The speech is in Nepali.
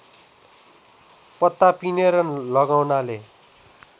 पत्ता पिनेर लगाउनाले